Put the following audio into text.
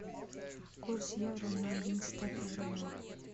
курс евро на одиннадцатое февраля